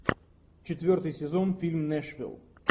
четвертый сезон фильм нэшвилл